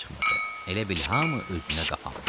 Elə bil hamı özünə qapanmışdı.